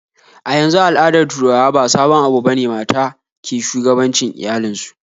Yanzu a al'adar turawa ba sabon abu bane mata ke shugabancin iyalin su